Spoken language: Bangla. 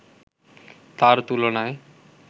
তার তুলনায়